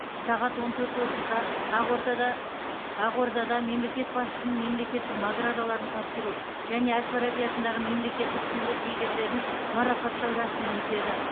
сағат он төрт отызда ақортада ақордада мемлекет басшысының мемлекеттік наградаларын тапсыру және әл фараби атындағы мемлекеттік сыйлық иегерлерін марапаттау рәсімі өтеді